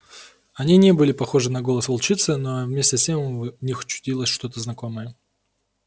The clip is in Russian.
они не были похожи на голос волчицы но вместе с тем в них чудилось что-то знакомое